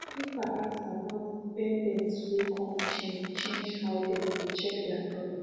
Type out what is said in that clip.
the paper ask about dependents way come change change how them dey check their profit